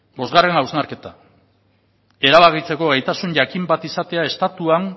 bostgarren hausnarketa erabakitzeko gaitasun jakin bat izatea estatuan